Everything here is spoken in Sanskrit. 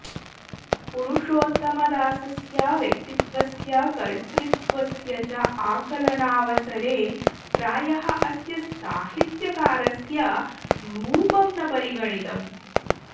पुरुषोत्तमदासस्य व्यक्तित्वस्य कर्तृत्वस्य च आकलनावसरे प्रायः अस्य साहित्यकारस्य रूपं न परिगणितम्